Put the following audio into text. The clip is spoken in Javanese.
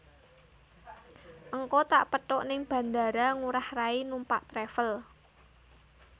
Ngko tak pethuk ning Bandara Ngurah Rai numpak travel